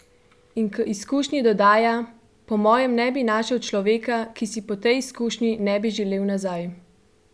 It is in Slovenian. In k izkušnji dodaja: "Po mojem ne bi našel človeka, ki si po tej izkušnji ne bi želel nazaj.